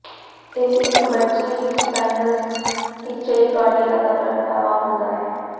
ਇਹ ਇੱਕ ਬੱਚੇ ਵਿੱਚ ਸਾਇਨਸ ਟੀਚਈਕਾਰਡਿਆ ਦਾ ਪ੍ਰਗਟਾਵਾ ਹੁੰਦਾ ਹੈ